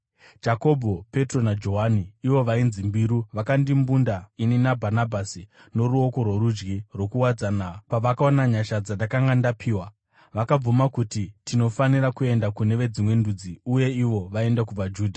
Jakobho, Petro, naJohani, ivo vainzi mbiru, vakandimbunda ini naBhanabhasi noruoko rworudyi rwokuwadzana pavakaona nyasha dzandakanga ndapiwa. Vakabvuma kuti tinofanira kuenda kune veDzimwe Ndudzi, uye ivo vaende kuvaJudha.